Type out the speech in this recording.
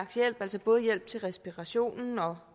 hjælp altså både hjælp til respirationen og